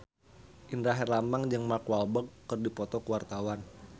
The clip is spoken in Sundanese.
Indra Herlambang jeung Mark Walberg keur dipoto ku wartawan